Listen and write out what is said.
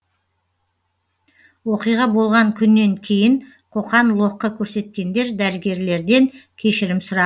оқиға болған күннен кейін қоқан лоққы көрсеткендер дәрігерлерден кешірім сұра